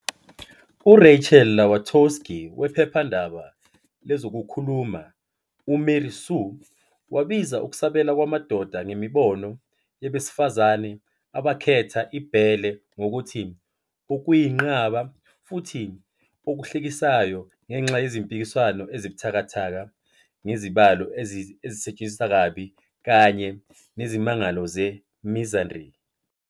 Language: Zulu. URachel Ulatowski wephephandaba lezokukhuluma i-"UMary Sue" wabiza ukusabela kwamadoda ngemibono yabesifazane abakhetha ibhele ngokuthi "okuyinqaba" futhi "okuhlekisayo" ngenxa yezimpikiswano ezibuthakathaka ngezibalo ezisetshenziswa kabi kanye nezimangalo ze-misandry.